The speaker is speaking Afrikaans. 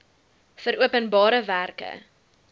vir openbare werke